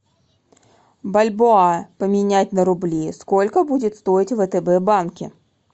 бальбоа поменять на рубли сколько будет стоить в втб банке